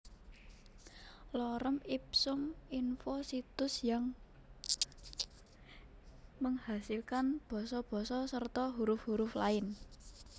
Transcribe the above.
Lorem ipsum info Situs yang menghasilkan basa basa serta huruf huruf lain